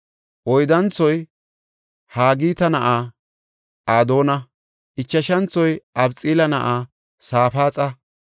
Oyddanthoy Haagita na7aa Adoona; ichashanthoy Abixaala na7aa Safaaxa.